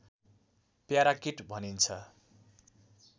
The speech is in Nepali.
प्याराकिट भनिन्छ